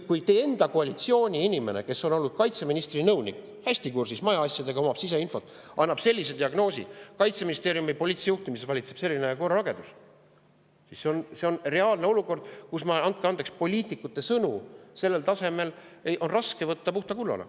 Kui teie enda koalitsiooni inimene, kes on olnud kaitseministri nõunik, kes on hästi kursis selle maja asjadega ja omab siseinfot, sellise diagnoosi, et Kaitseministeeriumi poliitilises juhtimises valitseb selline korralagedus, siis see on reaalne olukord, kus, andke andeks, poliitikute sõnu sellel tasemel on raske võtta puhta kullana.